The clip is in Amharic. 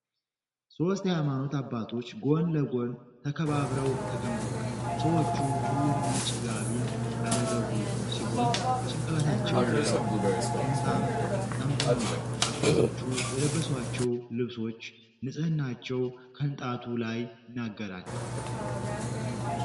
ሶስት የሃይማኖት አባቶች ጎን ለጎን ተከባብረው ተቀምጠዋል። ሰዎቹ ሁሉም ነጭ ጋቢን ያደረጉ ሲሆን በጭንቅላታቸው ላይም ጥምጣም ጠምጥመዋል። አባቶቹ የለበሷቸው ልብሶች ንጽህናቸው ከንጣቱ ላይ ይናገራል።